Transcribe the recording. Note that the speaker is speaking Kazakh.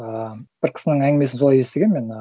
ыыы бір кісінің әңгімесін солай естігем мен ы